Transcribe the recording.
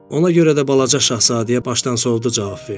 Ona görə də balaca Şahzadəyə başdansovdu cavab verdim.